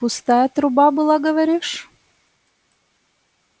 пустая труба была говоришь